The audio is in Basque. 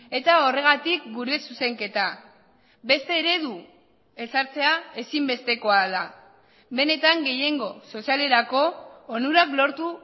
eta horregatik gure zuzenketa beste eredu ezartzea ezinbestekoa da benetan gehiengo sozialerako onurak lortu